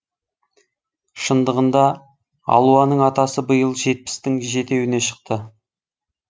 шындығында алуаның атасы биыл жетпістің жетеуіне шықты